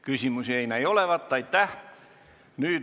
Küsimusi ei ole.